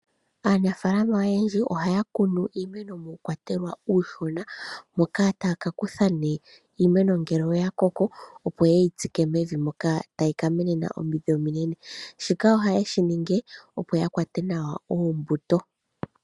Aanafaalama oyendji ohaya kunu iimeeno muukwatelwa uushona, moka taya ka kutha nee iimeno ngele oya koko, opo yeyi tsike mevi moka tayi ka menena omidhi ominene. Shika ohayeshi ningi opo ya kwate nawa oombuto.